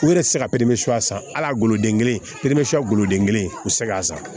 U yɛrɛ ti se ka san ala goloden kelen pe san goloden kelen o sɛgɛn